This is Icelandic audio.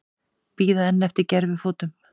Bíða enn eftir gervifótum